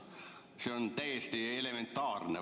See on täiesti elementaarne.